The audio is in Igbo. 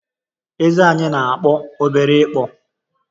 Eze anyị na-akpụ obere ịkpụ